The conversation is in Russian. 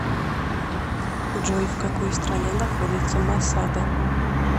джой в какой стране находится масада